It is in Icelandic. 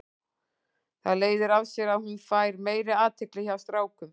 Það leiðir af sér að hún fær meiri athygli hjá strákum.